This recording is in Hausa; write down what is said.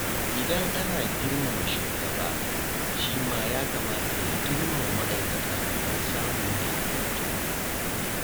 Idan ana girmama shugaba, shi ma ya kamata ya girmama ma’aikata domin samun daidaito.